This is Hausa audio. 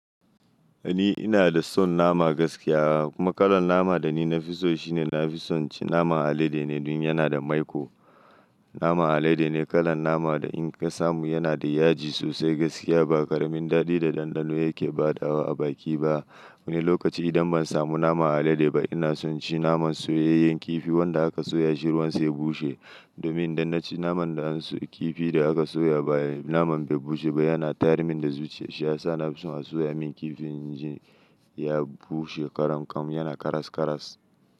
Ni ina da son nama gaskiya kuma kalan naman da ni na fi so shi ne na fi son ci naman alade ne don yana da maiko. Naman alade ne kalan nama da in ka samu yana da yaji sosai gaskiya ba ƙaramin daɗi da ɗanɗano yake ba da wa a baki ba. Wani lokaci idan ban samu naman alade ba ina son ci naman soyayyen kifi wanda aka soya shi ruwan sai bushe domin idan na ci naman da an soya kifi da aka soya ba naman bai bushe ba yana tayar min da zuciya. Shi ya sa na fi son a soya min kifin inji ya bushe ƙarankam yana karas karas.